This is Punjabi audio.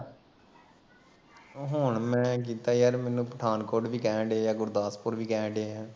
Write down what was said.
ਹੁਣ ਮੈਂ ਕੀਤਾ ਯਾਰ ਮੈਨੂੰ ਪਠਾਨਕੋਟ ਵੀ ਕਹਿਣਡਏ, ਗੁਰਦਾਸਪੁਰ ਵੀ ਕਹਿਣਡਏ